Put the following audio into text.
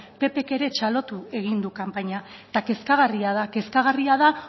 ppk ere txalotu egin du kanpaina eta kezkagarria da kezkagarria da